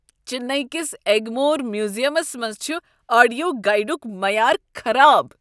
چنئی کس ایگمور میوزیمس منٛز چھ آڈیو گائیڈک معیار خراب۔